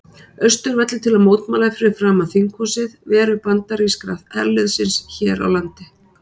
Austurvelli til að mótmæla fyrir framan þinghúsið veru bandaríska herliðsins hér á landi.